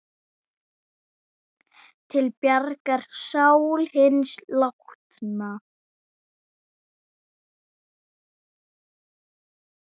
Til bjargar sál hins látna.